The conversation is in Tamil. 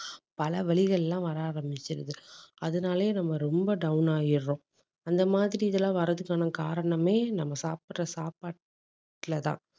பல வலிகள் எல்லாம் வர ஆரம்பிச்சுருது. அதனாலேயே நம்ம ரொம்ப down ஆயிடுறோம். அந்த மாதிரி இதெல்லாம் வர்றதுக்கான காரணமே நம்ம சாப்பிடுற சாப்பாட்டுல தான்